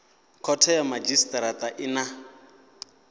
khothe ya madzhisitirata i na